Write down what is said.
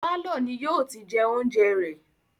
Pálọ̀ ni yìí ó ti jẹ oúnjẹ rẹ̀